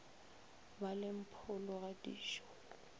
ba le mpholo ga dijo